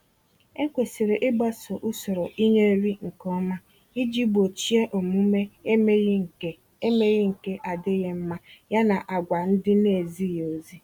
Ekwesịrị ịgbaso usoro ịnye nri nke ọma iji gbochie omume emeghi nke emeghi nke adịghị mma, ya na àgwà ndị naezighị ezi.